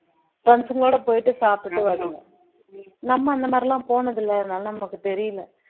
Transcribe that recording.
friends ங்களோட போயிட்டு சாப்பிட்டு வருதுங்க நம்ம அந்த மாதிரி எல்லாம் போனதில்லை அதனால நமக்கு தெரியலே